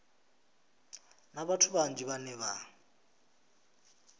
na vhathu vhanzhi vhane vha